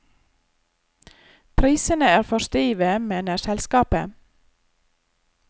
Prisene er for stive, mener selskapet.